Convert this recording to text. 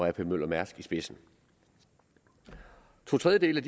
ap møller mærsk i spidsen to tredjedele